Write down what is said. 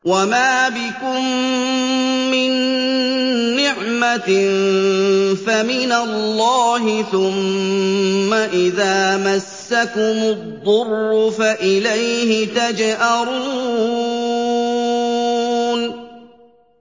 وَمَا بِكُم مِّن نِّعْمَةٍ فَمِنَ اللَّهِ ۖ ثُمَّ إِذَا مَسَّكُمُ الضُّرُّ فَإِلَيْهِ تَجْأَرُونَ